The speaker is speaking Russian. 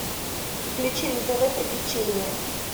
включи на тв приключения